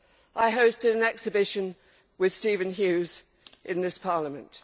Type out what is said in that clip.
I hosted an exhibition with Stephen Hughes in this Parliament.